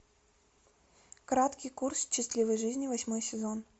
краткий курс счастливой жизни восьмой сезон